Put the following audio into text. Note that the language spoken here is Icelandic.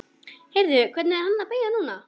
Heyrðu. hvert er hann að beygja núna?